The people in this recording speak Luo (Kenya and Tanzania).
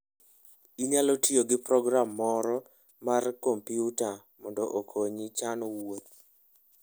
Inyalo tiyo gi program moro mar kompyuta mondo okonyi chano wuoth.